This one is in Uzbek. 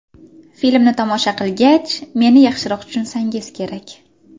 Filmni tomosha qilgach, meni yaxshiroq tushunsangiz kerak.